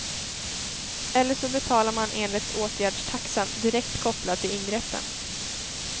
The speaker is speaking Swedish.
Eller så betalar man enligt åtgärdstaxan, direkt kopplad till ingreppen.